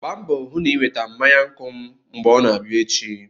Gbaa mbọ hụ na ị weta mmanya nkwụ m mgbe ọ na-abịa echi!